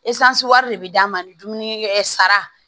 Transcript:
wari de bɛ d'a ma ni dumuni sara